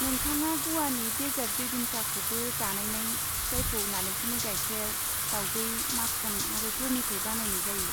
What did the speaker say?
नोंथाङा ग'वानि देसार्ट बेबिन्काखौबो जानायनाय जायखौ नालेंखरनि गायखेर, दावदै, माखन आरो गुरनिफ्राय बानायनाय जायो।